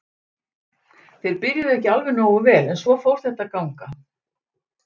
Þeir byrjuðu ekki alveg nógu vel en svo fór þetta að ganga.